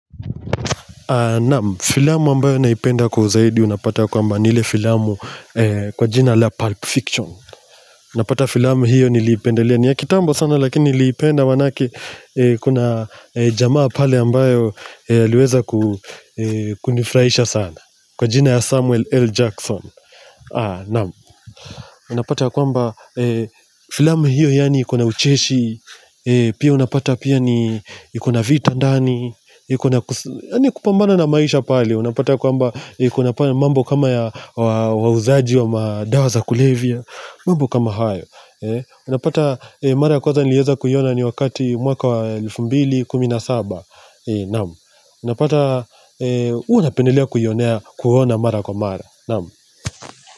Naam, filamu ambayo naipenda kwa uzaidi unapata ya kwamba ni ile filamu kwa jina la Pulp Fiction. Napenda filamu hiyo niliipendelea, ni ya kitambo sana lakini niliipenda maanake kuna jamaa pale ambayo aliweza ku kunifurahisha sana. Kwa jina ya Samuel L. Jackson. Naam, unapata ya kwamba filamu hiyo yani iko na ucheshi Pia unapata pia ni, iko na vita ndani. Yaani kupambana na maisha pale, unapata kwamba, iko na pia mambo kama ya wauzaji wa madawa za kulevya, mambo kama hayo Unapata mara ya kwanza nilieza kuiona ni wakati mwaka wa elfu mbili kumi na saba, na'am. Unapata, unapendelea kuona mara kwa mara.